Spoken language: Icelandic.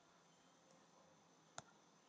Þetta er svolítið súrt